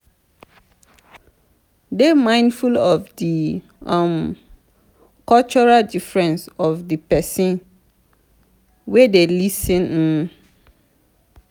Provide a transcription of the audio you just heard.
dey mindful of di um cultural difference of di person wey dey lis ten um